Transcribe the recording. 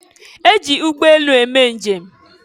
E ji ụgbọelu eme njem.